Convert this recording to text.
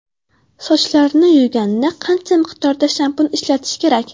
Sochlarni yuvganda qancha miqdorda shampun ishlatish kerak?